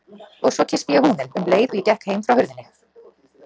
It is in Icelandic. Og svo kyssti ég húninn, um leið og ég gekk heim frá hurðinni.